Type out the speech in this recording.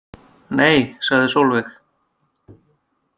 Nei, sagði Sólveig.